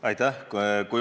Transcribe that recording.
Aitäh!